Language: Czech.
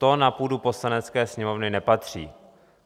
To na půdu Poslanecké sněmovny nepatří.